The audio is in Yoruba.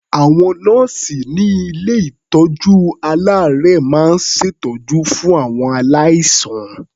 Àwọn nọ́ọ̀sì ní ilé-ìtọ́jú-aláàárẹ̀ máa ń ṣètọ́jú fún àwọn aláìsàn.